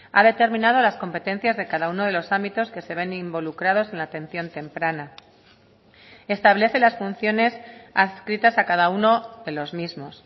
ha determinado las competencias de cada uno de los ámbitos que se ven involucrados en la atención temprana establece las funciones adscritas a cada uno de los mismos